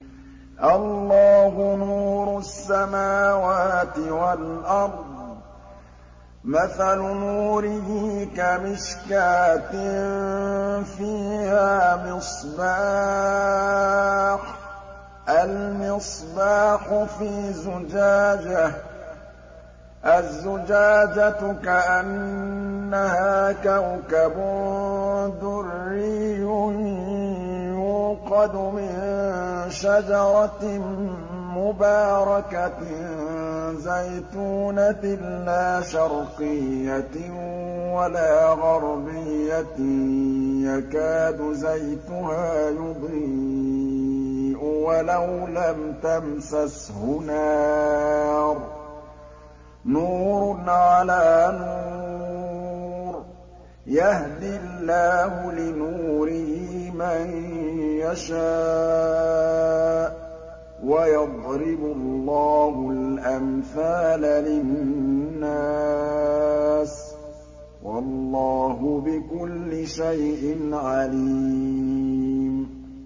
۞ اللَّهُ نُورُ السَّمَاوَاتِ وَالْأَرْضِ ۚ مَثَلُ نُورِهِ كَمِشْكَاةٍ فِيهَا مِصْبَاحٌ ۖ الْمِصْبَاحُ فِي زُجَاجَةٍ ۖ الزُّجَاجَةُ كَأَنَّهَا كَوْكَبٌ دُرِّيٌّ يُوقَدُ مِن شَجَرَةٍ مُّبَارَكَةٍ زَيْتُونَةٍ لَّا شَرْقِيَّةٍ وَلَا غَرْبِيَّةٍ يَكَادُ زَيْتُهَا يُضِيءُ وَلَوْ لَمْ تَمْسَسْهُ نَارٌ ۚ نُّورٌ عَلَىٰ نُورٍ ۗ يَهْدِي اللَّهُ لِنُورِهِ مَن يَشَاءُ ۚ وَيَضْرِبُ اللَّهُ الْأَمْثَالَ لِلنَّاسِ ۗ وَاللَّهُ بِكُلِّ شَيْءٍ عَلِيمٌ